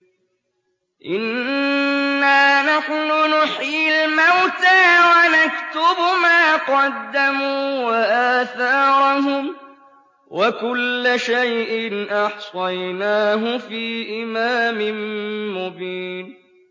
إِنَّا نَحْنُ نُحْيِي الْمَوْتَىٰ وَنَكْتُبُ مَا قَدَّمُوا وَآثَارَهُمْ ۚ وَكُلَّ شَيْءٍ أَحْصَيْنَاهُ فِي إِمَامٍ مُّبِينٍ